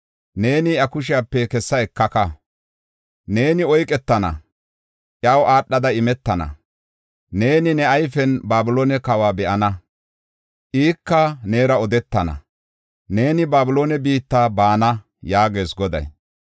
Neeni iya kushepe kessa ekaka; neeni oyketana; iyaw aadhada imetana. Neeni ne ayfen Babiloone kawa be7ana; ika neera odetana. Neeni Babiloone biitta baana’ yaagees Goday.